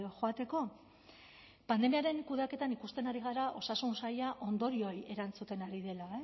joateko pandemiaren kudeaketan ikusten ari gara osasun saila ondorioei erantzuten ari dela